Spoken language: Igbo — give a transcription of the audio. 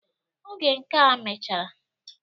Oge nkea mechara..